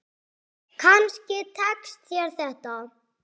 Kannski tekst þér þetta.